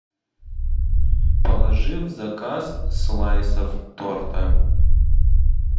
положи в заказ слайсов торта